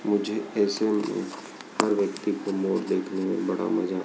मुझे ऐसे में हर व्यक्ति को मोर देखने में बड़ा मजा--